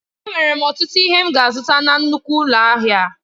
Enwere m ọtụtụ ihe m ga-azụta na nnukwu ụlọ ahịa a.